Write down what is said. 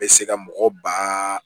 Bɛ se ka mɔgɔ ba